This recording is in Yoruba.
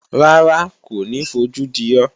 Rárá, kò ní fojú di ọ́